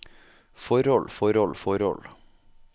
forhold forhold forhold